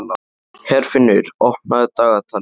Herfinnur, opnaðu dagatalið mitt.